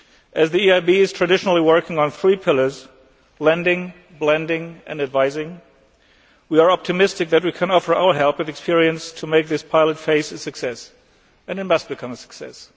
As the EIB has traditionally worked on three pillars lending, blending and advising we are optimistic that we can offer our help and experience to make this pilot phase a success, and it must become a success.